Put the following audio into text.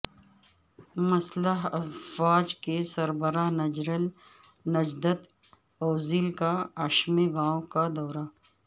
مسلح افواج کے سربراہ جنرل نجدت اوزیل کا ایشمے گاوں کا دورہ